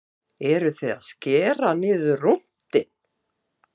Jónas Margeir Ingólfsson: Eruð þið að skera niður rúntinn?